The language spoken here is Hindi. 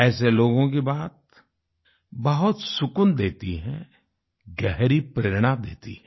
ऐसे लोगों की बात बहुत सुकून देती है गहरी प्रेरणा देती है